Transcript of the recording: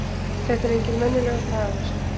Þetta er enginn venjulegur dagur!